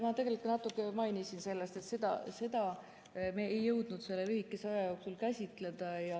Ma tegelikult ka natuke mainisin, et seda me ei jõudnud selle lühikese aja jooksul käsitleda.